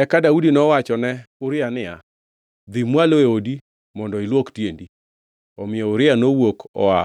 Eka Daudi nowachone ni Uria niya, “Dhi mwalo e odi mondo ilwok tiendi.” Omiyo Uria nowuok oa